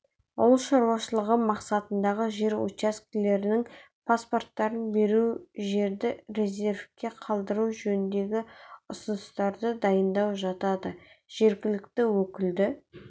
ауыл шаруашылығы мақсатындағы жер учаскелерінің паспорттарын беру жерді резервке қалдыру жөніндегі ұсыныстарды дайындау жатады жергілікті өкілді